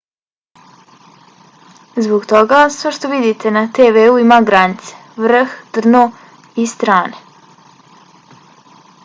zbog toga sve što vidite na tv-u ima granice vrh dno i strane